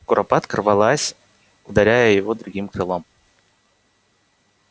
куропатка рвалась ударяя его другим крылом